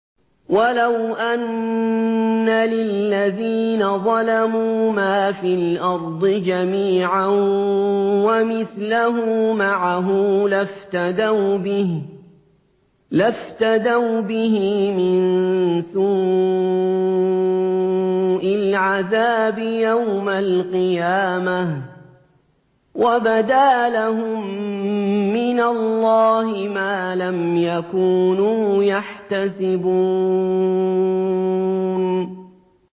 وَلَوْ أَنَّ لِلَّذِينَ ظَلَمُوا مَا فِي الْأَرْضِ جَمِيعًا وَمِثْلَهُ مَعَهُ لَافْتَدَوْا بِهِ مِن سُوءِ الْعَذَابِ يَوْمَ الْقِيَامَةِ ۚ وَبَدَا لَهُم مِّنَ اللَّهِ مَا لَمْ يَكُونُوا يَحْتَسِبُونَ